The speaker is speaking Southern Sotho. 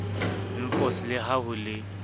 npos le ha ho le